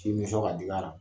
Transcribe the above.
Tin bɛ sɔn ka diigi la.